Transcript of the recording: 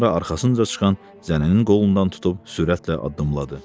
Sonra arxasınca çıxan zənənin qolundan tutub sürətlə addımladı.